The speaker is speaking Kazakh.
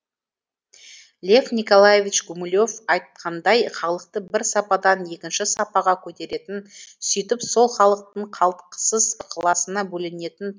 лев николаевич гумилев айтқандай халықты бір сападан екінші сапаға көтеретін сөйтіп сол халықтың қалтқысыз ықыласына бөленетін